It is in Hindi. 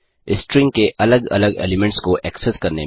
स्ट्रिंग के अलग अलग एलीमेंट्स को एक्सेस करने में